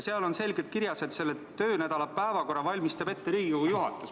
Seal on selgelt kirjas, et töönädala päevakorra valmistab ette Riigikogu juhatus.